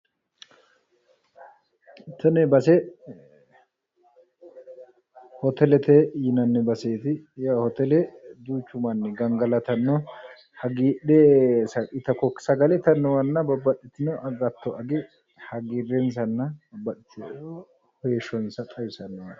Tini base hotelete yinanni baseeti yawu hotele duuchu manni gangalatanno hagiidhe sagale itannowanna agattp age hagiirrensanna babbaxitino heeshsho xawisannowaayi yaate